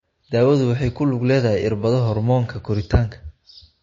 Daawadu waxay ku lug leedahay irbado hormoonka koritaanka.